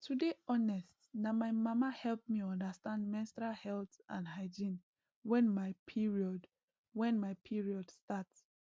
to dey honest na my mama help me understand menstrual health and hygiene wen my period wen my period start